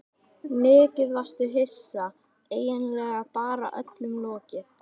Mikið varstu hissa, eiginlega bara öllum lokið.